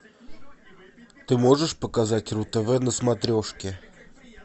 ты можешь показать ру тв на смотрешке